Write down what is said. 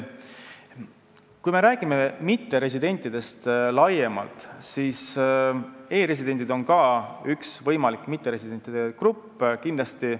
Kui me räägime mitteresidentidest laiemalt, siis e-residendid on ka üks võimalik mitteresidentide grupp kindlasti.